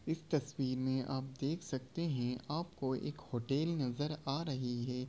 इस तस्वीर में आप देख सकते हैं आपको एक होटल नजर आ रही है ।